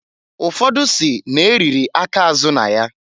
Ụfọdụ si n'e riri aka azụ na ya.